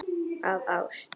Af ást.